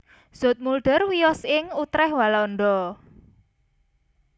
Zoetmulder miyos ing Utrecht Walanda